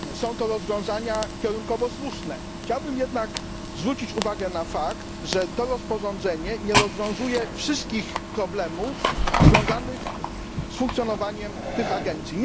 Są to rozwiązania kierunkowo słuszne, chciałbym jednak zwrócić uwagę na fakt, że to rozporządzenie nie rozwiązuje wszystkich problemów związanych z funkcjonowaniem tych agencji.